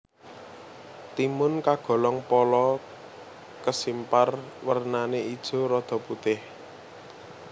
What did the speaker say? Timun kagolong pala kesimpar wernané ijo rada putih